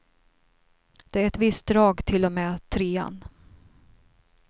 Det är ett visst drag till och med trean.